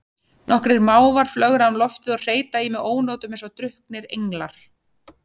Nokkrir mávar flögra um loftið og hreyta í mig ónotum eins og drukknir englar.